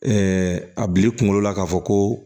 a bi kunkolo la k'a fɔ ko